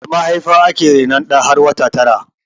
A mahaifa ake rainon ɗa har wata tara